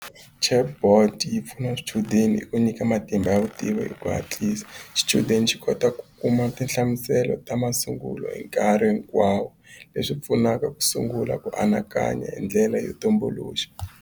Chatbot yi pfuna swichudeni hi ku nyika matimba ya vutivi hi ku hatlisa xichudeni xi kota ku kuma tinhlamuselo ta masungulo hi nkarhi hinkwawo leswi pfunaka ku sungula ku anakanya hi ndlela yo tumbuluxa.